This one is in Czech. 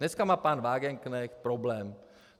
Dneska má pan Wagenknecht problém.